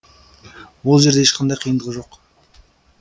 ол жерде ешқандай қиындық жоқ